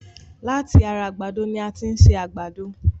Láti ara àgbàdo ni a tin ṣe àgbàdo